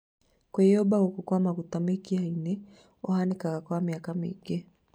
Kwĩyumba gũkũ kwa maguta mĩkiha-inĩ ũhanĩkaga kwa mĩaka mĩingĩ